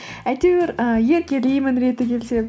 әйтеуір і еркелеймін реті келсе